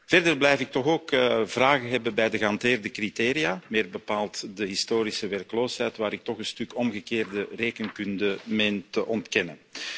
Verder blijf ik toch ook vragen hebben bij de gehanteerde criteria, meer bepaald de historische werkloosheid, waar ik toch een stuk omgekeerde rekenkunde meen te onderkennen.